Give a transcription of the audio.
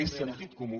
és sentit comú